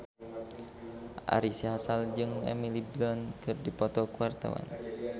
Ari Sihasale jeung Emily Blunt keur dipoto ku wartawan